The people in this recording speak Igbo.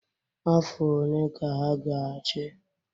Afọ one ka ha ga-achị?